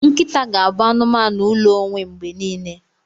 Nkịta ga-abụ anụmanụ ụlọ onwe mgbe niile.